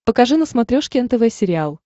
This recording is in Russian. покажи на смотрешке нтв сериал